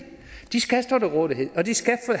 de skal stå til rådighed og de skal